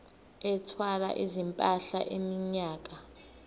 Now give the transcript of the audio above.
ethwala izimpahla iminyaka